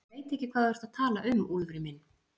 Ég veit ekki hvað þú ert að tala um, Úlfur minn.